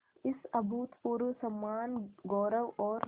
इस अभूतपूर्व सम्मानगौरव और